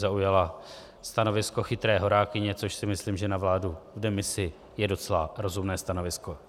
Zaujala stanovisko chytré horákyně, což si myslím, že na vládu v demisi je docela rozumné stanovisko.